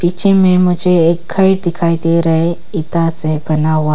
पीछे मे मुझे एक घर दिखाई दे रहे इटा से बना हुआ--